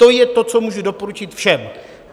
To je to, co můžu doporučit všem.